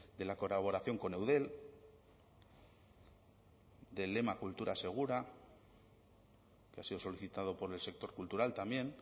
de la colaboración con eudel del lema cultura segura que ha sido solicitado por el sector cultural también